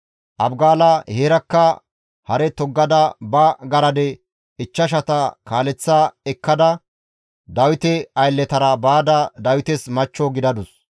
Abigaala heerakka hare toggada ba garade ichchashata kaaleththa ekkada Dawite aylletara baada Dawites machcho gidadus.